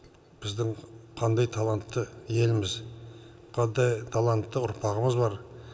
біздің қандай талантты еліміз қандай талантты ұрпағымыз бар